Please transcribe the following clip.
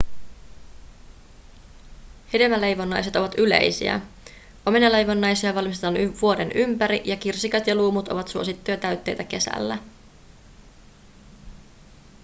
hedelmäleivonnaiset ovat yleisiä omenaleivonnaisia valmistetaan vuoden ympäri ja kirsikat ja luumut ovat suosittuja täytteitä kesällä